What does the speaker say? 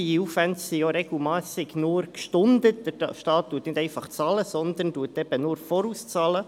Diese Aufwände sind ja oftmals nur gestundet, denn der Staat bezahlt nicht einfach, sondern leistet oft nur einen Vorschuss.